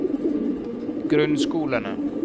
grunnskolene